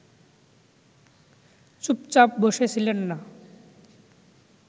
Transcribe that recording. চুপচাপ বসে ছিলেন না